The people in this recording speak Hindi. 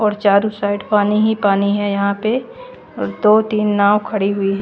और चारो साइड पानी ही पानी है यहाँ पे और दो तीन नाव खड़ी हु--